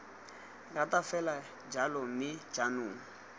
rata fela jalo mme jaanong